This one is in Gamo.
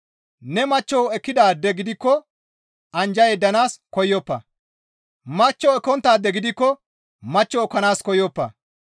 Ne machcho ekkidaade gidikko anjja yeddanaas koyoppa; machcho ekkonttaade gidikko machcho ekkanaas koyoppa.